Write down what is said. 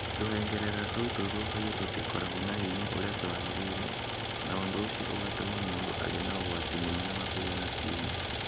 Tũhengereta tũu tũthũũkagio tũtikoragwo na hinya ũrĩa twaagĩrĩire, na ũndũ ũcio ũgatũma mũndũ agĩe na ũgwati mũnene wa kũgĩa na tumor.